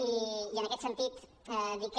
i en aquest sentit dir que